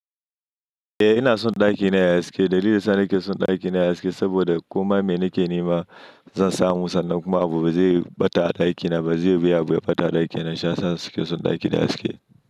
Eh ina son ɗakina yayi haske. Dalilin sa nake son ɗakina yayi haske saboda komai me nake nema zan samu sannan kuma abu bazai ɓata a ɗakina ba, bazai biya abu ya ɓata a ɗakina shiyasa nake son ɗakina yayi haske.